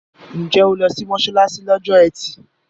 Ǹjẹ́ o lọ sí mọ́ṣáláṣí lọ́jọ́ ẹtì?